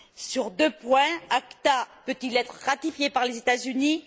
sur deux points ACTA peut il être ratifié par les États Unis?